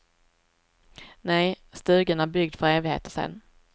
Nej, stugan är byggd för evigheter sen.